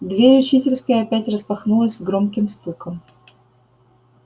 дверь учительской опять распахнулась с громким стуком